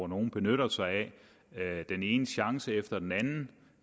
nogle benytter sig af den ene chance efter den anden